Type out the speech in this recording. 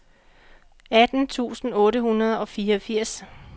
atten tusind otte hundrede og fireogfirs